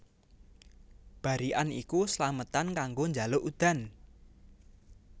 Barikan iku slametan kanggo njaluk udan